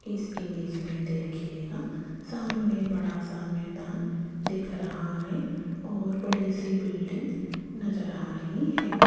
इस इमेज मे देखियेगा सामने बड़ा सा मैदान दिख रहा है और बड़ी सी बिल्डिंग नज़र आ रही है।